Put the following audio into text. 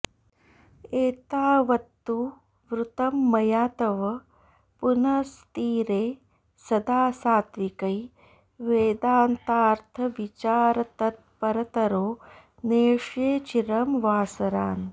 एतावत्तु वृतं मया तव पुनस्तीरे सदा सात्त्विकै वेदान्तार्थविचारतत्परतरो नेष्ये चिरं वासरान्